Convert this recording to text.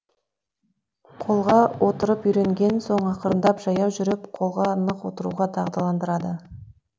қолға отырып үйренген соң ақырындап жаяу жүріп қолға нық отыруға дағдыландырады